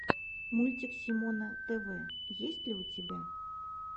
мультик симона тв есть ли у тебя